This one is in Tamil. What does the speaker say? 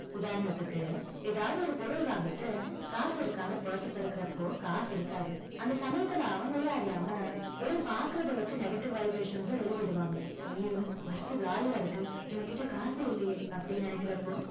உதாரணத்துக்கு, ஏதாவது ஒரு பொருள் வாங்கிட்டு, காசு இருக்கான்னு purse திறக்கறப்போ, காசு இருக்காது. அந்த சமயத்துல அவங்களையே அறியாம, வெறும் பார்க்கிறத வச்சு negative vibrations அ வெளியிடுவாங்க. ஐயையோ purse காலியா இருக்கு. நம்ம கிட்ட காசே இல்லையே. அப்படின்னு நினைக்கிறப்போ,